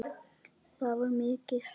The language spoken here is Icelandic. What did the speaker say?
Það var mikið, sagði hann.